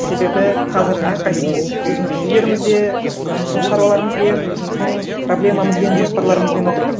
себебі қазір әрқайсымыз өзіміздің үйлерімізде өзіміздің шаруаларымызбен өзіміздің проблемамызбен жоспарларымызбен отырмыз